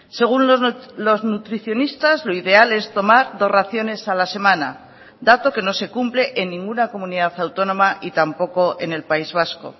según los nutricionistas lo ideal es tomar dos raciones a la semana dato que no se cumple en ninguna comunidad autónoma y tampoco en el país vasco